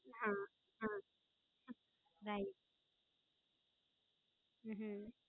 હા હા Right હમ